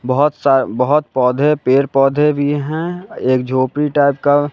बहुत सा बहुत पौधे पेड़ पौधे भी हैं एक झोपड़ी टाइप का--